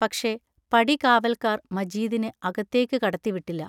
പക്ഷേ, പടികാവൽക്കാർ മജീദിനെ അകത്തേക്കു കടത്തിവിട്ടില്ല.